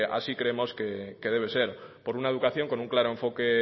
así creemos que debe ser por una educación con un claro enfoque